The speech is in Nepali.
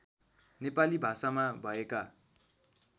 नेपाली भाषामा भएका